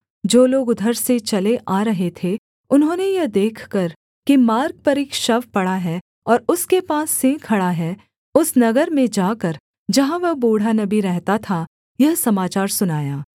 जो लोग उधर से चले आ रहे थे उन्होंने यह देखकर कि मार्ग पर एक शव पड़ा है और उसके पास सिंह खड़ा है उस नगर में जाकर जहाँ वह बूढ़ा नबी रहता था यह समाचार सुनाया